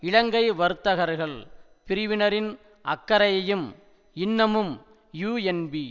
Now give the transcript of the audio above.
இலங்கை வர்த்தகர்கள் பிரிவினரின் அக்கறையையும் இன்னமும் யூஎன்பி